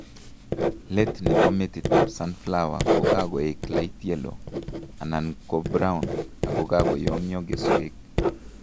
Let nebo metitab sunflower ko kakoek light yellow anan ko brown akakoyomyo keswek